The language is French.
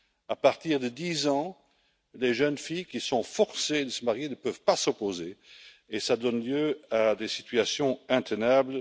À partir de 10 ans, les jeunes filles qui sont forcées de se marier ne peuvent pas s'y opposer et cela donne lieu à des situations intenables.